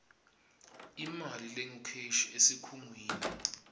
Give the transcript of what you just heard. imali lengukheshi esikhungweni